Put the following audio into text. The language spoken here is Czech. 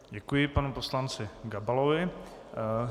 Děkuji panu poslanci Gabalovi.